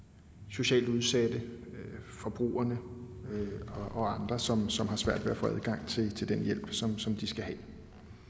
socialt udsatte forbrugerne og andre som som har svært ved at få adgang til den hjælp som som de skal have